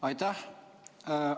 Aitäh!